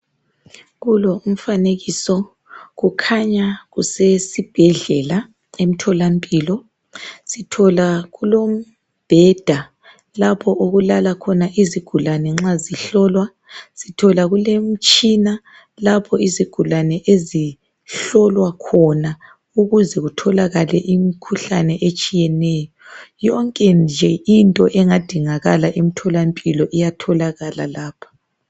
Kulo umfanekiso kukhanya kusesibhedlela, emtholampilo , sithola kulombheda lapho okulala khona izigulane nxa zihlolwa. Sithola kulemitshina lapho izigulane ezihlolwa khona ukuze kutholakale imkhuhlane etshiyeneyo. Yonke nje into engadingakala emtholampilo iyatholakala lapha.